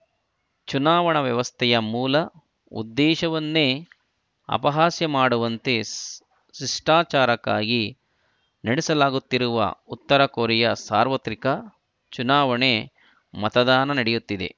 ಚುನಾವಣಾ ವ್ಯವಸ್ಥೆಯ ಮೂಲ ಉದ್ದೇಶವನ್ನೇ ಅಪಹಾಸ್ಯ ಮಾಡುವಂತೆ ಶಿಷ್ಟಾಚಾರಕ್ಕಾಗಿ ನಡೆಸಲಾಗುತ್ತಿರುವ ಉತ್ತರ ಕೊರಿಯಾ ಸಾರ್ವತ್ರಿಕ ಚುನಾವಣೆ ಮತದಾನ ನಡೆಯುತ್ತಿದೆ